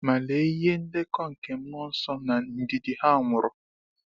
Ma lee ihe ndekọ nke mmụọ nsọ na ndidi ha nwuru!